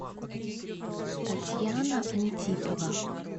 татьяна антипова